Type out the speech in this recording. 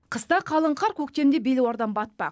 қыста қалың қар көктемде белуардан батпақ